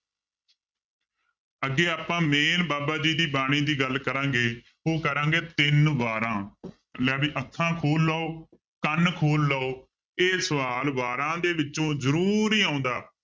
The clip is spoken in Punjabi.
ਅੱਗੇ ਆਪਾਂ main ਬਾਬਾ ਜੀ ਦੀ ਬਾਣੀ ਦੀ ਗੱਲ ਕਰਾਂਗੇ ਉਹ ਕਰਾਂਗੇ ਤਿੰਨ ਵਾਰਾਂ ਲੈ ਵੀ ਅੱਖਾਂ ਖੋਲ ਲਓ ਕੰਨ ਖੋਲ ਲਓ ਇਹ ਸਵਾਲ ਵਾਰਾਂ ਦੇ ਵਿੱਚੋਂ ਜ਼ਰੂਰ ਹੀ ਆਉਂਦਾ